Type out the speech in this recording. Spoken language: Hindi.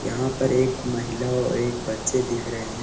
यहाँ पर एक महिला और एक बच्चे दिख रहें हैं।